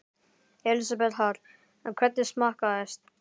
Elísabet Hall: Hvernig smakkaðist?